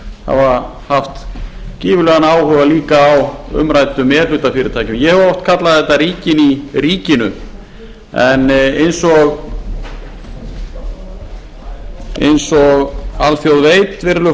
hafa haft gífurlegan áhuga líka á umræddum e hluta fyrirtækjum ég hef oft kallað þetta ríkin í ríkinu en eins og alþjóð veit virðulegi